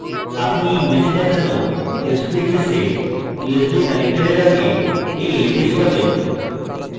আপনি you image দেখানো sbhs এ usb connector আগে you leds পাবেন